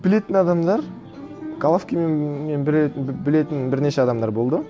білетін адамдар головкинмен білетін бірнеше адамдар болды